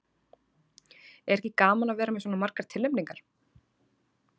Er ekki gaman að vera með svona margar tilnefningar?